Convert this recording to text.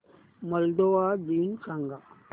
Moldova दिन सांगा